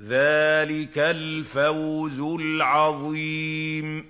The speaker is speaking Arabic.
ذَٰلِكَ الْفَوْزُ الْعَظِيمُ